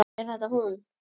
Er þetta hún?